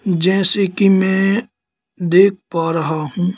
जैसे कि मैं देख पा रहा हूं।